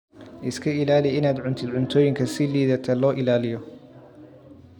Iska ilaali inaad cuntid cuntooyinka si liidata loo ilaaliyo.